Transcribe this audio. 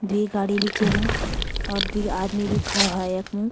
द्वि गाड़ी भी च यमु और द्वि आदमी भी खड़ा होया यख्मु।